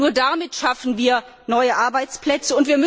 Nur so schaffen wir neue Arbeitsplätze.